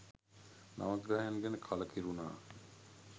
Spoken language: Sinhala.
නවග්‍රහයන් ගැන කළකිරුනා